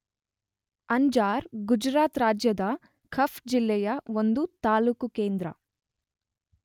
ಅಂಜಾರ್ ಗುಜರಾತ್ ರಾಜ್ಯದ ಕಛ್ ಜಿಲ್ಲೆಯ ಒಂದು ತಾಲೂಕು ಕೇಂದ್ರ.